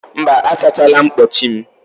Mba, asachala mkpọchi m.